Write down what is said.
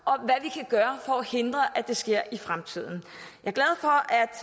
og at hindre at det sker i fremtiden